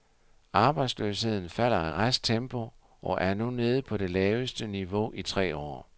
Arbejdsløsheden falder i rask tempo og er nu nede på det laveste niveau i tre år.